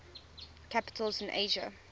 capitals in asia